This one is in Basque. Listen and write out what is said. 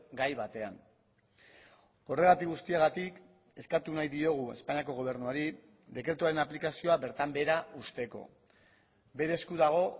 gai batean horregatik guztiagatik eskatu nahi diogu espainiako gobernuari dekretuaren aplikazioa bertan behera uzteko bere esku dago